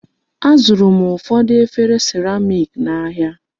Azụrụ m ụfọdụ efere seramik n'ahia.